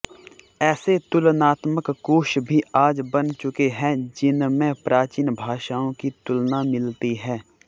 ऐसे तुलनात्मक कोश भी आज बन चुके हैं जिनमें प्राचीन भाषाओं की तुलना मिलती है